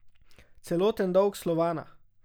Celoten dolg Slovana?